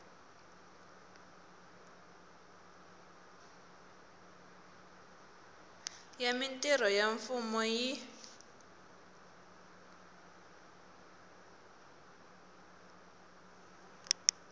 ya mintirho ya mfumo yi